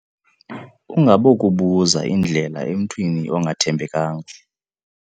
Ungabokubuza indlela emntwini ongathembekanga.